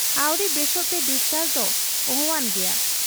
ᱟᱹᱣᱨᱤ ᱵᱮᱥᱚᱜᱛᱮ ᱰᱤᱥᱪᱟᱨᱡᱽ ᱫᱚ ᱚᱦᱚᱣᱟᱱ ᱜᱮᱭᱟ ᱾